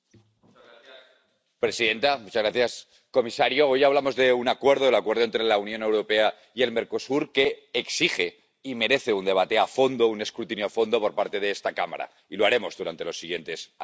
Señora presidenta, señor comisario, hoy hablamos de un Acuerdo, el Acuerdo entre la Unión Europea y el Mercosur, que exige y merece un debate a fondo, un escrutinio a fondo por parte de esta Cámara, y lo haremos durante los siguientes años.